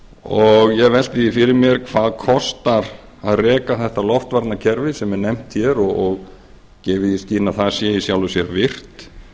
og ég velti því ári mér hvað kostar að reka þetta loftvarnakerfi sem er nefnt hér og gefið í skyn að það sé í sjálfu sér virkt